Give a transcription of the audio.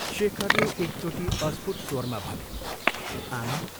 शेखरले एकचोटि अस्फुट स्वरमा भन्यो, " आमा "।